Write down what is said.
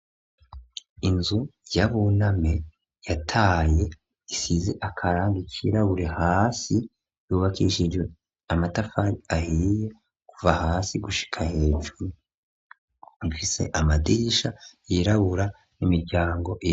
Inzu ya Buname yataye isize akarangi kirabure hasi yubakishijwe amatafari ahiriye kuva hasi gushika hejuru ifise amadirisha yirabura n'imiryango .